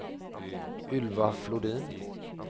Ylva Flodin